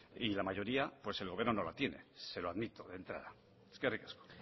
y la mayoría el gobierno no la tiene se lo admito de entrada eskerrik asko